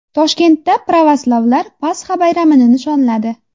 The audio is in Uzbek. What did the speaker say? Toshkentda pravoslavlar Pasxa bayramini nishonladi .